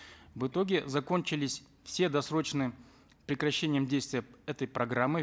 в итоге закончились все досрочные прекращением действия этой программы